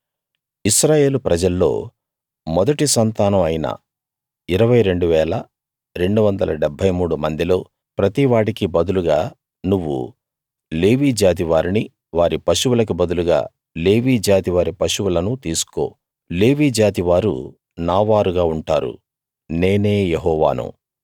ఇశ్రాయేలు ప్రజల్లో మొదటి సంతానం అయిన 22 273 మందిలో ప్రతివాడికి బదులుగా నువ్వు లేవీ జాతి వారిని వారి పశువులకి బదులుగా లేవీ జాతి వారి పశువులను తీసుకో లేవీ జాతి వారు నా వారుగా ఉంటారు నేనే యెహోవాను